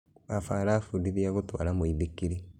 Baba arafundithia gũtwara mũithikilĩ